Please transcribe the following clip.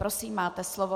Prosím, máte slovo.